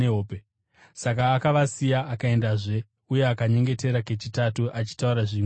Saka akavasiya akaendazve uye akanyengetera kechitatu, achitaura zvimwe chetezvo.